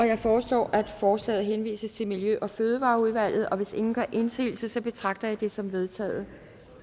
jeg foreslår at forslaget til folketingsbeslutning henvises til miljø og fødevareudvalget hvis ingen gør indsigelse betragter jeg det som vedtaget